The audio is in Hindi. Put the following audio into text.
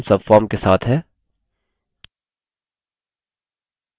अतः यहाँ हमारा form subform के साथ है